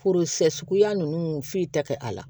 Foro sɛ suguya ninnu foyi tɛ kɛ a la